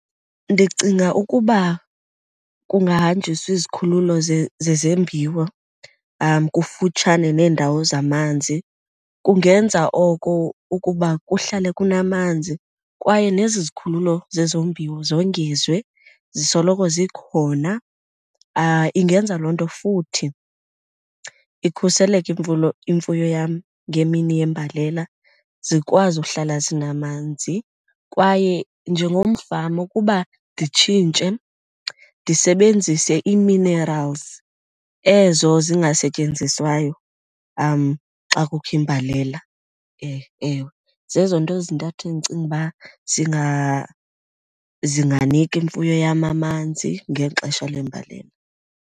Ndicinga ukuba kungahanjiswa izikhululo zezembiwo kufutshane neendawo zamanzi kungenza oko ukuba kuhlale kunamanzi kwaye nezi zikhululo zezombiwo zongezwe zisoloko zikhona. Ingenza loo nto futhi ikhuseleke imfuyo yam ngemini yembalela, zikwazi uhlala zinamanzi. Kwaye njengomfama ukuba nditshintshe ndisebenzise ii-minerals ezo zingasetyenziswayo xa kukho imbalela. Ewe, zezo nto zintathu endicinga uba zinganika imfuyo yam amanzi ngexesha lembalela.